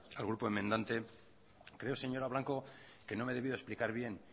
al grupo enmendante creo señora blanco que no me he debido explicar bien